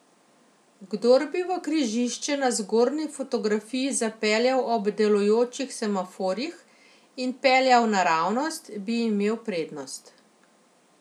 Kdor bi v križišče na zgornji fotografiji zapeljal ob delujočih semaforjih in peljal naravnost, bi imel prednost.